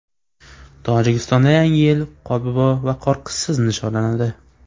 Tojikistonda Yangi yil Qorbobo va Qorqizsiz nishonlanadi.